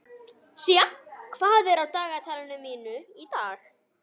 Sía, hvað er á dagatalinu mínu í dag?